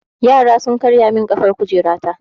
Yara sun karya min ƙafar kujera ta.